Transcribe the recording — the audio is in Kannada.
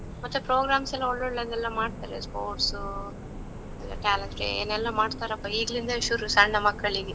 ಮತ್ತೆ programs ಎಲ್ಲಾ ಒಳ್ಳೊಳ್ಳೆದೆಲ್ಲ ಮಾಡ್ತರೆ, sports, talets day ಏನ್ ಎಲ್ಲಾ ಮಾಡ್ತಾರಪ್ಪಾ, ಈಗ್ಲಿಂದವೆ ಶುರು ಸಣ್ಣ ಮಕ್ಕಳಿಗೆ.